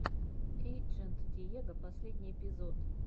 эйджент диего последний эпизод